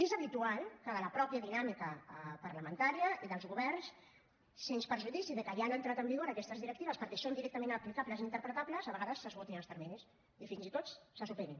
és habitual que de la mateixa dinàmica parlamentària i dels governs sens perjudici que ja han entrat en vigor aquestes directives perquè són directament aplicables i interpretables a vegades s’esgotin els terminis i fins i tot se superin